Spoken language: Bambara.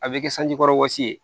A bɛ kɛ sanji kɔrɔ wɔsi ye